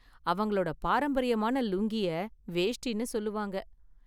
அவங்களோட பாரம்பரியமான லுங்கிய வேஷ்டினு சொல்லுவாங்க.